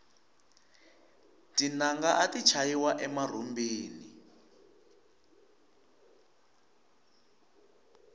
tinanga ati chayiwa emarhumbini